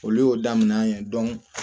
Olu y'o daminɛ